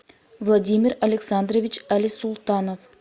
владимир александрович алисултанов